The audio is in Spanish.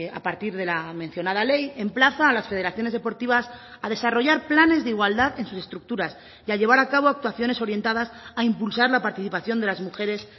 a partir de la mencionada ley emplaza a las federaciones deportivas a desarrollar planes de igualdad en sus estructuras y a llevar a cabo actuaciones orientadas a impulsar la participación de las mujeres